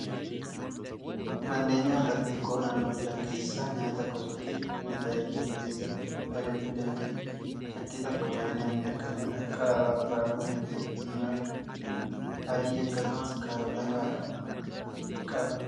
Manneen nyaataa xixiqqoo naannoo jiran keessaa nyaata gosoota nyaataa hedduu of keessaa qabu ajajachuu dandeenya. Shakkii tokko malee nyaanni akkanaa qaaraa, raafuun, missira diimaa fi adii akkasumas kaarota fa'aa qaba.